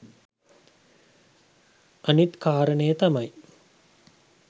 අනිත් කාරණය තමයි